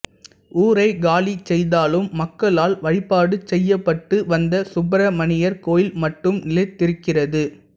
ஊரைக் காலி செய்தாலும் மக்களால் வழிபாடு செய்யப்பட்டு வந்த சுப்பிரமணியர் கோயில் மட்டும் நிலைத்திருக்கிறது